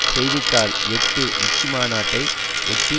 செய்தி தாள் எட்டு உச்சி மாநாட்டை ஒட்டி